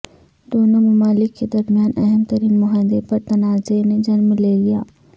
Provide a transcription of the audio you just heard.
دونوں ممالک کے درمیان اہم ترین معاہدے پر تنازعہ نے جنم لے لیا